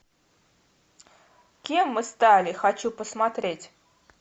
кем мы стали хочу посмотреть